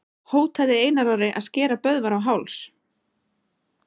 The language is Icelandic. Hótaði Einar Orri að skera Böðvar á háls?